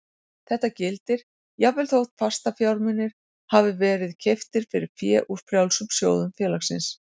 Þetta gildir jafnvel þótt fastafjármunir hafi verið keyptir fyrir fé úr frjálsum sjóðum félagsins.